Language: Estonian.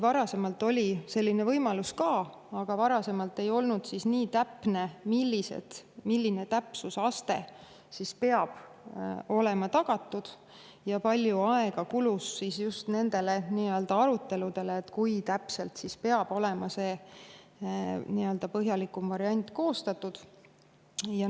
Varasemalt oli ka selline võimalus, aga varasemalt ei olnud see nii täpne:, milline täpsusaste peab olema tagatud, ja palju aega kulus just nendele aruteludele, et kui täpsena peab see põhjalikum variant olema koostatud.